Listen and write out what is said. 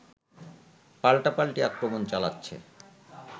পাল্টাপাল্টি আক্রমণ চালাচ্ছে